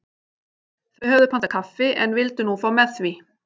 Þau höfðu pantað kaffi en vildu nú fá með því.